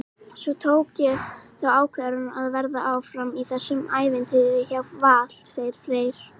Svo tók ég þá ákvörðun að vera áfram í þessu ævintýri hjá Val, segir Freyr.